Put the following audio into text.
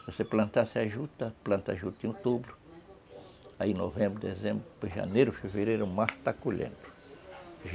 Se você plantasse a juta, planta a juta em outubro, aí novembro, dezembro, janeiro, fevereiro, o mar está colhendo.